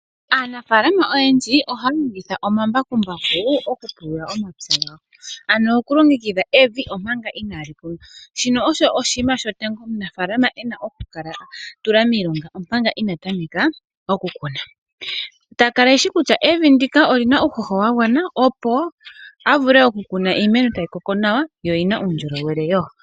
Aanafalama oyendji ohaya longitha omambakumbaku okupulula omapya gawo, ano okulongengidha evi omanga inaali kunwa. Shino osho oshinima sho tango omunafalama ena okutula miilonga omanga ina tameka okukuna. Ta kala ehsi kutya evi ndika olina uuhuho wa gwana opo a vule okukuna iimeno tayi koko nawa, yo oyi na uundjolowele wo.